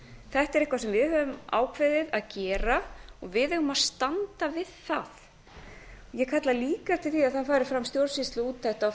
þetta er eitthvað sem við höfum ákveðið að gera og við eigum að standa við það ég kalla líka eftir því að það fari fram stjórnsýsluúttekt á